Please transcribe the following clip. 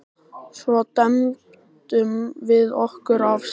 Svo dembdum við okkur af stað.